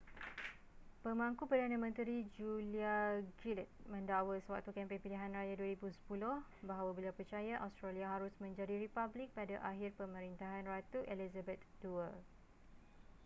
pemangku perdana menteri julia gillard mendakwa sewaktu kempen pilihan raya 2010 bahawa beliau percaya australia harus menjadi republik pada akhir pemerintahan ratu elizabeth ii